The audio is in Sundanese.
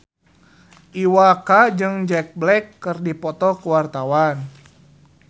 Iwa K jeung Jack Black keur dipoto ku wartawan